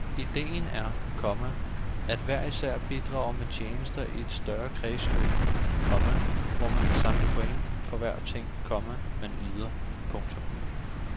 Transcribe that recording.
Idéen er, komma at hver især bidrager med tjenester i et større kredsløb, komma hvor man kan samle point for hver ting, komma man yder. punktum